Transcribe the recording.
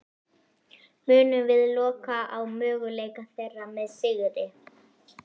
Munum við loka á möguleika þeirra með sigri?